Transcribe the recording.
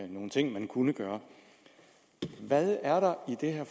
nogle ting man kunne gøre hvad er der i det her